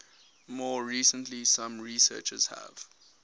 more recently some researchers have